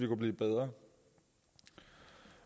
blive bedre